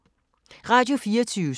Radio24syv